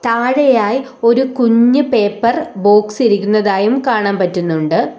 താഴെയായി ഒരു കുഞ്ഞു പേപ്പർ ബോക്സ് ഇരിക്കുന്നതായും കാണാൻ പറ്റുന്നുണ്ട്.